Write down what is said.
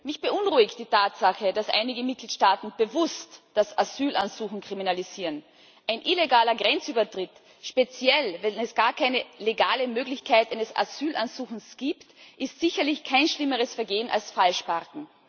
Herr Präsident! Mich beunruhigt die Tatsache, dass einige Mitgliedstaaten bewusst das Asylansuchen kriminalisieren. Ein illegaler Grenzübertritt, speziell wenn es gar keine legale Möglichkeit eines Asylansuchens gibt, ist sicherlich kein schlimmeres Vergehen als Falschparken.